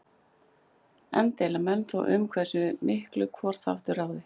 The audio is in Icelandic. Enn deila menn þó um hversu miklu hvor þáttur ráði.